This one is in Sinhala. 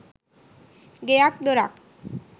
ගෙයක් දොරක්